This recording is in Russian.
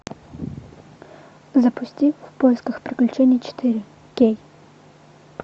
запусти в поисках приключений четыре кей